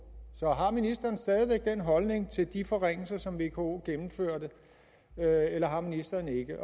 så har ministeren stadig væk den holdning til de forringelser som vko gennemførte eller har ministeren ikke